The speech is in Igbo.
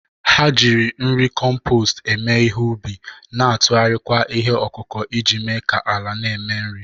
Ha jiri nri na compostu eme ihe ubi, na-atụgharịkwa ihe ọkụkụ iji mee ka ala na-eme nri.